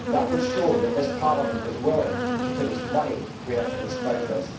That would show that this Parliament is willing to put its money where its mouth is.